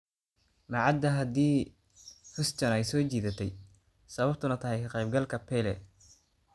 Ma cadda haddii Huston ay soo jiidatay sababtuna tahay ka qaybgalka Pele.